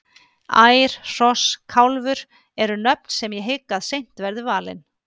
Ær, Hross, Kálfur eru nöfn sem ég hygg að seint verði valin.